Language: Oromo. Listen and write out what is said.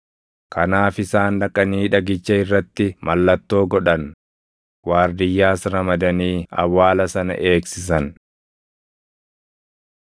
Kanaaf isaan dhaqanii dhagicha irratti mallattoo godhan; waardiyyaas ramadanii awwaala sana eegsisan.